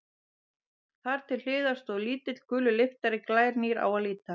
Þar til hliðar stóð lítill, gulur lyftari, glænýr á að líta.